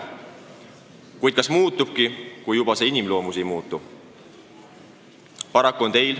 Kuid kas saabki muutuda, kui inimloomus ei muutu?